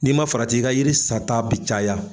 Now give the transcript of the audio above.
N'i ma farati i ka yiri sata bi caya